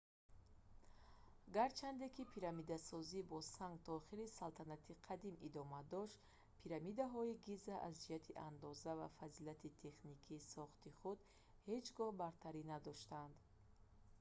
гарчанде ки пирамидасозӣ бо санг то охири салтанати қадим идома дошт пирамидаҳои гиза аз ҷиҳати андоза ва фазилати техникии сохти худ ҳеҷ гоҳ бартарӣ надоштанд